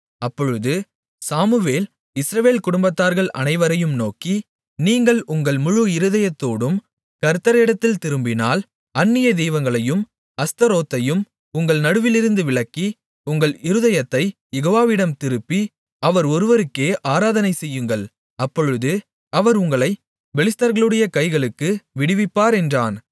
அப்பொழுது Samuel Israel குடும்பத்தார்கள் அனைவரையும் நோக்கி நீங்கள் உங்கள் முழு இருதயத்தோடும் கர்த்தரிடத்தில் திரும்பினால் அந்நிய தெய்வங்களையும் அஸ்தரோத்தையும் உங்கள் நடுவிலிருந்து விலக்கி உங்கள் இருதயத்தைக் யெகோவாவிடம் திருப்பி அவர் ஒருவருக்கே ஆராதனை செய்யுங்கள் அப்பொழுது அவர் உங்களைப் பெலிஸ்தர்களுடைய கைகளுக்கு விடுவிப்பார் என்றான்